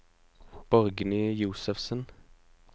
Borgny Josefsen